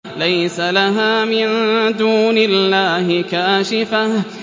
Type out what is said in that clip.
لَيْسَ لَهَا مِن دُونِ اللَّهِ كَاشِفَةٌ